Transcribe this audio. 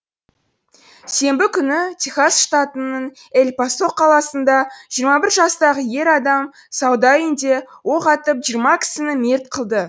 сенбі күні техас штатының эль пасо қаласында жиырма бір жастағы ер адам сауда үйінде оқ атып жиырма кісіні мерт қылды